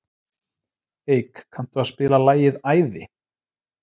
Eik, kanntu að spila lagið „Æði“?